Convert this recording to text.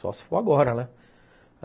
Só se for agora, né?